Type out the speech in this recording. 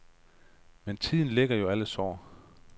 Men tiden læger jo alle sår.